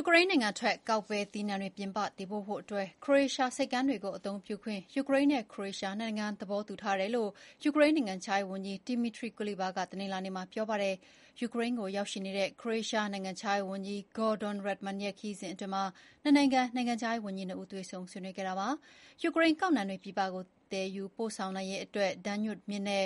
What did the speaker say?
ူကရိန်းနိုင်ငံထွက်ကောက်ပဲသီးနှံတွေ ပြည်ပတင်ပို့ဖို့ ခရိုအေးရှားဆိပ်ကမ်းတွေအသုံးပြုခွင့်ကို ယူကရိန်းနဲ့ခရိုအေးရှား နှစ်နိုင်ငံကြား သဘောတူထားတယ်လို့ ယူကရိန်းနိုင်ငံခြားရေးဝန်ကြီး Dmytro Kuleba က တနင်္လာနေ့မှာ ပြောပါတယ်။ ယူကရိန်းကိုရောက်နေတဲ့ ခရိုအေးရှားနိုင်ငံခြားရေးဝန်ကြီး Gordon Girlych-Radman ရဲ့ ခရီးစဥ်အတွင်းမှာ နှစ်နိုင်ငံ နိုင်ငံခြားရေးဝန်ကြီးနှစ်ဦး တွေ့ဆုံဆွေးနွေးခဲ့တာပါ။ ယူကရိန်းကောက်နှံတွေ ပြည်ပကို သယ်ယူပို့ဆောင်နိုင်ရေးအတွက် ဒန်းညု (Danube) မြစ်နဲ့